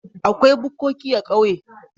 Akwai bukkoki a ƙauye.